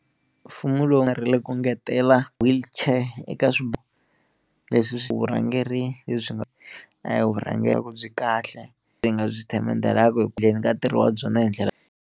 Mfumo lowu nga ri le ku ngetela wheelchair eka swi leswi vurhangeri lebyi nga a hi vurhangeri ku byi kahle lebyi hi nga byi themendhelaku ka ntirho wa byona hi ndlela.